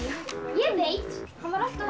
ég veit hann var alltaf